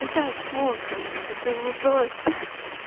итак в общем поступил вопрос ха-ха